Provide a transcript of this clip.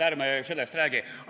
Ärme sellest räägi!